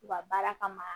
U ka baara kama